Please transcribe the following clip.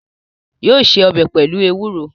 Yóò se ọbẹ pelu ewuro